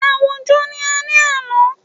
Àwùjọ ni ó ni àlọ́.